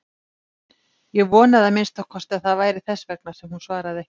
Ég vonaði að minnsta kosti að það væri þess vegna sem hún svaraði ekki.